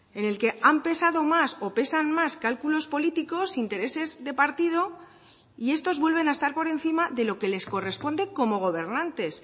en el que han pesado más o pesan más cálculos políticos intereses de partido y estos vuelven a estar por encima de lo que les corresponde como gobernantes